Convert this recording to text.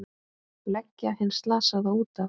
Leggja hinn slasaða út af.